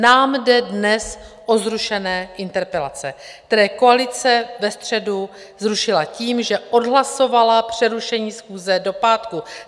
Nám jde dnes o zrušené interpelace, které koalice ve středu zrušila tím, že odhlasovala přerušení schůze do pátku.